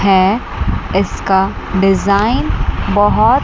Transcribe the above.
है। इसका डिजाइन बहोत--